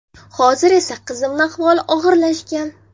Hozir esa qizimni ahvoli og‘irlashgan.